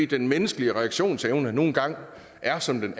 den menneskelige reaktionsevne nu engang er som